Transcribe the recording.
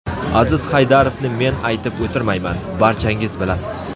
Aziz Haydarovni men aytib o‘tirmayman, barchangiz bilasiz.